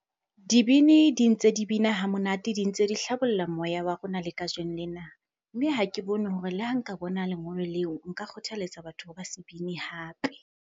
Dibini di ntse di bina ha monate, di ntse di hlabolla moya wa rona le kajeno lena. Mme ha ke bone hore le ha nka bona lengolo leo, nka kgothaletsa batho ba se bine hape.